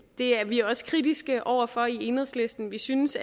er vi også kritiske over for i enhedslisten vi synes